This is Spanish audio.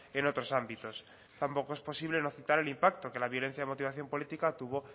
en otros ámbitos tampoco es posible no citar el impacto que la violencia de motivación política tuvo